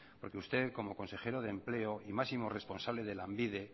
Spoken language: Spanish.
porque usted como consejero de empleo y máximo responsable de lanbide